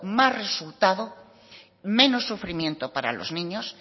más resultado menos sufrimiento para los niños